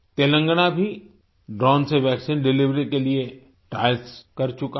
तेलंगाना भी ड्रोन से vaccine delivery के लिए ट्रायल्स कर चुका है